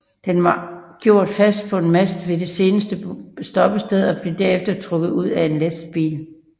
Den var gjort fast på en mast ved det senere stoppested og blev derefter trukket ud af en lastbil